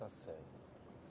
Está certo.